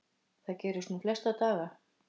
Það gerist nú flesta daga.